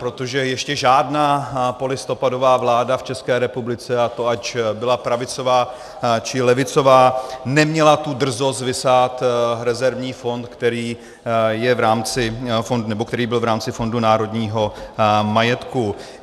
Protože ještě žádná polistopadová vláda v České republice, a to ať byla pravicová, či levicová, neměla tu drzost vysát rezervní fond, který byl v rámci Fondu národního majetku.